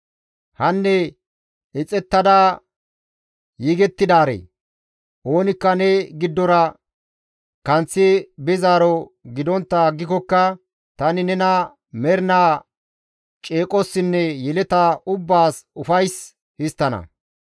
«Hanne ixettada yegettidaaree, oonikka ne giddora kanththi bizaaro gidontta aggikokka tani nena mernaa ceeqossinne yeleta ubbaas ufays histtana.